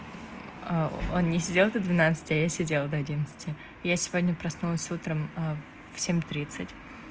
они сидят до двенадцати а я сидела до одиннадцати я сегодня проснулась утром в семь тридцать